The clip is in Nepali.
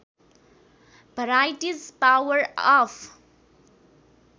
varieties power of